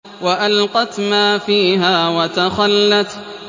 وَأَلْقَتْ مَا فِيهَا وَتَخَلَّتْ